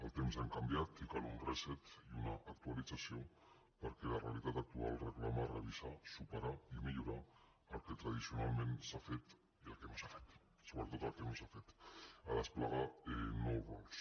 els temps han canviat i cal un resetalització perquè la realitat actual reclama revisar superar i millorar el que tradicionalment s’ha fet i el que no s’ha fet sobretot el que no s’ha fet a desplegar nous rols